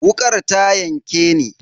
Wukar ta yanke ni.